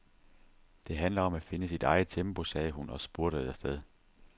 Det handler om at finde sit eget tempo, sagde hun og spurtede afsted.